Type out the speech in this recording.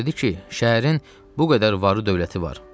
O dedi ki, şəhərin bu qədər varı dövləti var.